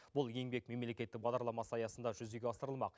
бұл еңбек мемлекеттік бағдарламасы аясында жүзеге асырылмақ